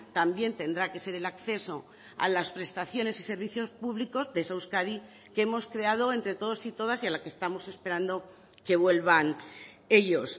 también tendrá que ser el acceso a las prestaciones y servicios públicos de esa euskadi que hemos creado entre todos y todas y a la que estamos esperando que vuelvan ellos